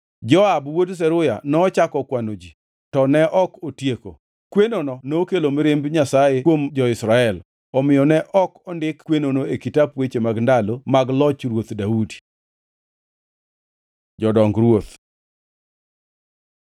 Joab wuod Zeruya nochako kwano ji, to ne ok otieko. Kwenono nokelo mirimb Nyasaye kuom jo-Israel, omiyo ne ok ondik kwenono e kitap Weche mag Ndalo mag loch Ruoth Daudi. Jodong ruoth